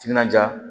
Timinandiya